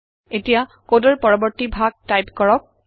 এটিয়া কডৰ পৰবৰ্তী ভাগ টাইপ কৰক